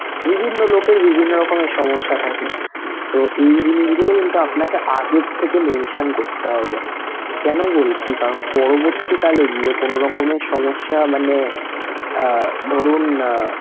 বিভিন্ন লোকের বিভিন্ন রকমের সমস্যা থাকে তো এই জিনিসগুলো কিন্তু আপনাকে আগের থেকে করতে হবে কেন বলছি কারণ পরবর্তীকালে গিয়ে কোন রকমের সমস্যা মানে ধরুন AZMA